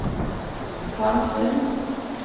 Karmsund